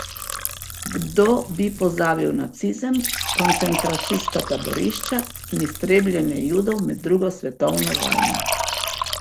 Kdo bi pozabil nacizem, koncentracijska taborišča in iztrebljanje Judov med drugo svetovno vojno?